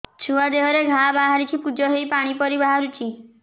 ଛୁଆ ଦେହରେ ଘା ବାହାରିଛି ପୁଜ ହେଇ ପାଣି ପରି ବାହାରୁଚି